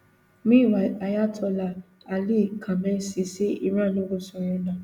meanwhile ayatollah ali khamenei say iran no go surrender